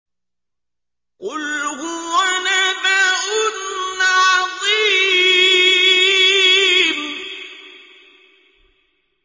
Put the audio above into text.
قُلْ هُوَ نَبَأٌ عَظِيمٌ